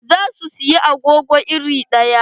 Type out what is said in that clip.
Za su siyi agogo iri ɗaya.